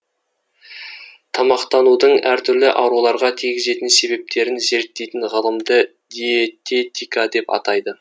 тамақтанудың әр түрлі ауруларға тигізетін себептерін зерттейтін ғылымды диететика деп атайды